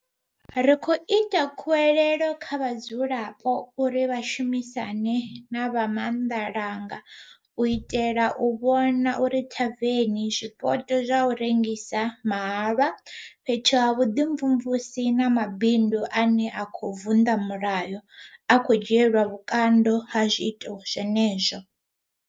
Ri khou ita khuwelelo kha vhadzulapo uri vha shumisane na vha maanḓalanga u itela u vhona uri thaveni, zwipoto zwa u rengisa mahalwa, fhethu ha vhuḓimvumvusi na mabindu ane a khou vunḓa mulayo a khou dzhielwa vhukando ha zwiito zwenezwo.